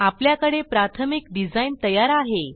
आपल्याकडे प्राथमिक डिझाइन तयार आहे